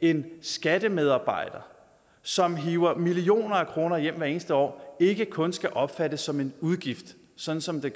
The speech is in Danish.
en skattemedarbejder som hiver millioner af kroner hjem hvert eneste år ikke kun skal opfattes som en udgift sådan som det